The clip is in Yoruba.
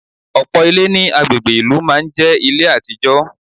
Ọ̀pọ̀ Ilé ní agbègbè ìlú máa n jé Ilé àtijọ́